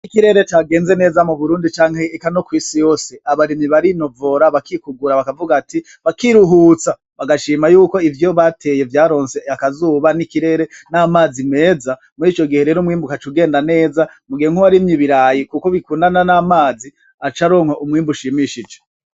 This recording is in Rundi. Iy'ikirere cagenze neza muburundi ndetse nonkw'isi yose , abarimyi barinovora ,bakikugura ,bakavuga ati, bakiruhutsa .Bagashima yuko ivyo bateye vyaronse akazuba n'ikirere n'amazi meza ,murico gihe rero umwimbu ugaca ugenda neza mugihe nk'uwarimye ibirayi kuko bikundana n'amazi aca aronka umwimbu ushimishije.